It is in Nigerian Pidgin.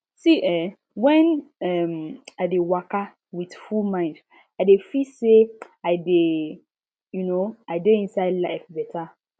see eh when um i dey waka with full mind i de feel say i dey um inside life beta